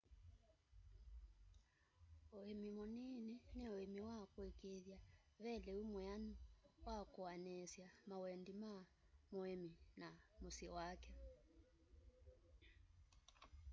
uimi muniini ni uimi wa kuikiithya ve liu mwianu wa kuaniisya mawendi ma muimi na musyi wake